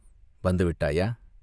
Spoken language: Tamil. "வந்து விட்டாயா?